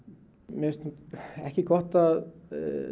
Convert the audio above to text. mér finnst ekki gott að